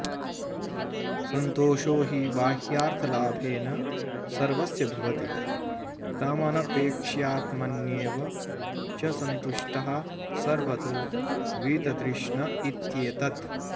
संतोषो हि बाह्यार्थलाभेन सर्वस्य भवति तमनपेक्ष्यात्मन्येव च संतुष्टः सर्वतो वीततृष्णइत्येतद्